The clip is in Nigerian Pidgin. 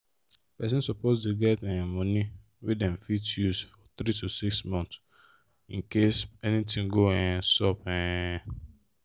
person suppose dey get um money wey them fit use for like 3-6 months incase anything go um sup. um